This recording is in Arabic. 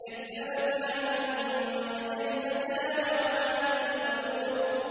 كَذَّبَتْ عَادٌ فَكَيْفَ كَانَ عَذَابِي وَنُذُرِ